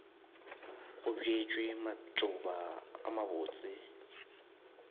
go bjetšwe matšoba a mabotse